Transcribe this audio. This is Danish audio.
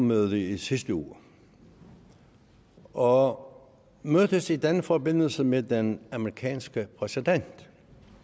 møde i sidste uge og mødtes i den forbindelse med den amerikanske præsident